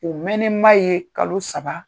O mɛnen ma ye kalo saba.